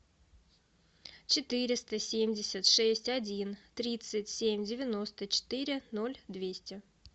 четыреста семьдесят шесть один тридцать семь девяносто четыре ноль двести